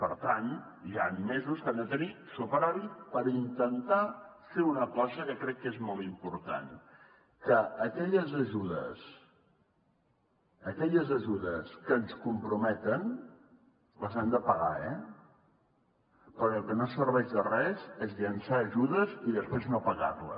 per tant hi han mesos que han de tenir superàvit per intentar fer una cosa que crec que és molt important que aquelles ajudes que ens comprometen les hem de pagar eh perquè el que no serveix de res és llençar ajudes i després no pagar les